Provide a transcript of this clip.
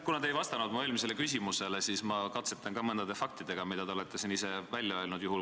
Kuna te ei vastanud mu eelmisele küsimusele, siis ma katsetan mõne faktiga, mille te olete siin ise välja öelnud .